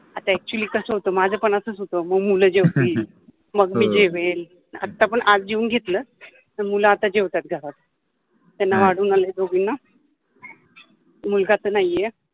आता अ‍ॅक्च्युअलि कस होत माझ पन असच होत, म मुल जेवतिल मग मि जेवेन, आत्तापन आज जेवुन घेतल मुल आता जेवतात घरात, त्याना वाढुन आलि दोघिना मुलगा तर नाहि आहे.